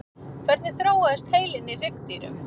hvernig þróaðist heilinn í hryggdýrum